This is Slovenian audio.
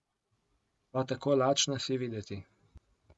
Pa tako lačna si videti.